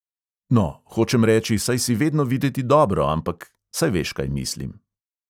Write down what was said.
"No, hočem reči, saj si vedno videti dobro, ampak … saj veš, kaj mislim."